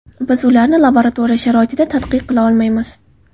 Biz ularni laboratoriya sharoitida tadqiq qila olmaymiz.